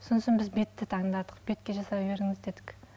сосын біз бетті таңдадық бетке жасай беріңіз дедік